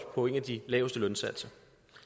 på en af de laveste lønsatser